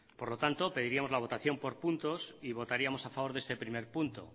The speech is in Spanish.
por lo tanto pediríamos la votación por puntos y votaríamos a favor de este primer punto